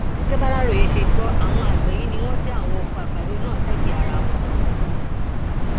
gẹgẹ bàlàròyé ṣe gbọ àwọn àgbẹ yìí ni wọn dá àwọn ọkọ àgbàdo náà sẹgbẹẹ ara wọn